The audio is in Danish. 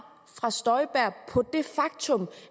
fra fru støjberg på det faktum